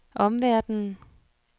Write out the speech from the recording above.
omverdenen